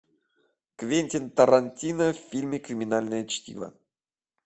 квентин тарантино в фильме криминальное чтиво